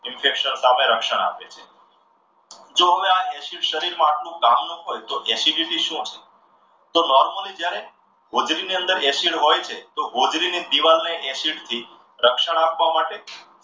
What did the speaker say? infection સામે રક્ષણ આપે છે. તો હવે આ acid શરીરમાં આટલું બધું કામનું હોય તો acidity શું છે? તો normally જ્યારે હોજડી ની અંદર acid હોય છે તો હોજડીની દિવાલને acid થી રક્ષણ આપવા માટે,